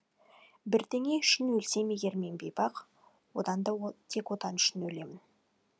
бірдеңе үшін өлсем егер мен бейбақ одан да тек отан үшін өлемін